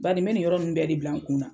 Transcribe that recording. Badi me ninnu yɔrɔ bɛɛ de bila n kunna.